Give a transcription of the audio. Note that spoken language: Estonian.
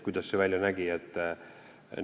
Kuidas see välja nägi?